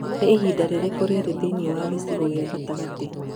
nĩ ihinda rĩrĩkũ rĩrĩ thĩinĩ wa gĩcigo gia gatagatĩ